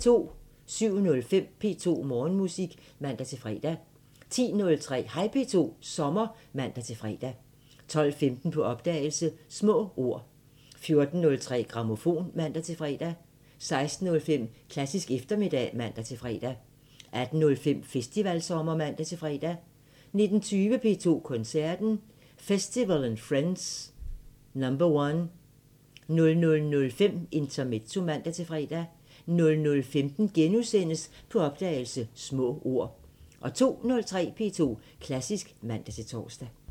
07:05: P2 Morgenmusik (man-fre) 10:03: Hej P2 – sommer (man-fre) 12:15: På opdagelse – Små ord 14:03: Grammofon (man-fre) 16:05: Klassisk eftermiddag (man-fre) 18:05: Festivalsommer (man-fre) 19:20: P2 Koncerten – Festival & Friends #1 00:05: Intermezzo (man-fre) 00:15: På opdagelse – Små ord * 02:03: P2 Klassisk (man-tor)